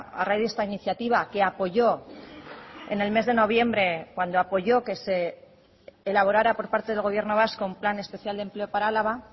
a raíz de esta iniciativa que apoyó en el mes de noviembre cuando apoyó que se elaborara por parte del gobierno vasco un plan especial de empleo para álava